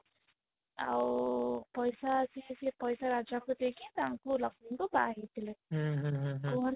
ଆଉ ପଇସା ସିଏ ସେଇ ପଇସା ରାଜା ଙ୍କୁ ଦେଇକି ତାଙ୍କୁ ଲକ୍ଷ୍ମୀ ଙ୍କୁ ବାହା ହେଇଥିଲେ କୁହନ୍ତି